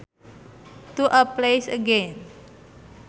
To a place again